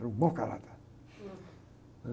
Era um mau caráter, né?